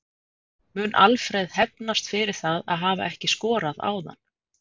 Mun Alfreð hefnast fyrir það að hafa ekki skorað áðan?